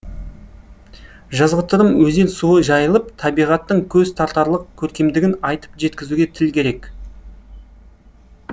жазғытұрым өзен суы жайылып табиғаттың көз тартарлық көркемдігін айтып жеткізуге тіл керек